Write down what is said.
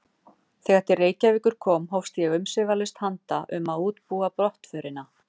Þegar til Reykjavíkur kom hófst ég umsvifalaust handa um að undirbúa brottförina.